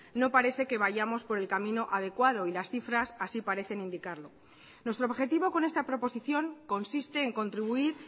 no parece que vayamos por el camino adecuado y las cifras así parecen indicarlo nuestro objetivo con esta proposición consiste en contribuir